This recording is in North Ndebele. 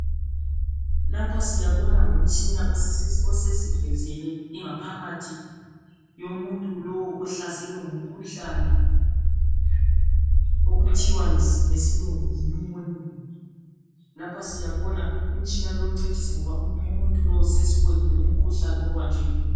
Lapha siyabona ngumtshina osusivezele ingaphakathi yomuntu lowu ohlaselwe ngumkhuhlane okuthiwa ngesilungu yi pneumonia lapha siyabona umtshina lowu uncedisa ngoba umuntu lowu sesibonile umkhuhlane obanjwe yiwo.